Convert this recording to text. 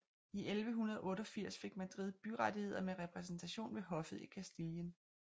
I 1188 fik Madrid byrettigheder med repræsentation ved hoffet i Castilien